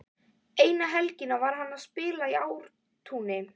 Eina helgina var hann að spila í Ártúni.